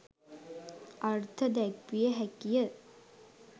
අර්ථ දැක්විය හැකි ය.